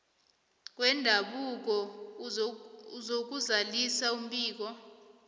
wendabuko uzakuzalisa umbiko